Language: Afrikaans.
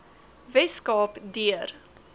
wes kaap deur